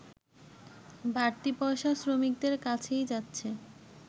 বাড়তি পয়সা শ্রমিকদের কাছেই যাচ্ছে